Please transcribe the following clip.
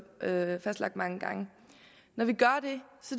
mange gange